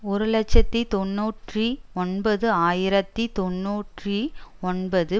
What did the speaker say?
ஒரு இலட்சத்தி தொன்னூற்றி ஒன்பது ஆயிரத்தி தொன்னூற்றி ஒன்பது